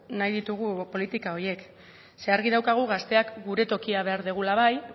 nahi ditugu politika horiek ze argi daukagu gazteak gure tokia behar dugula bai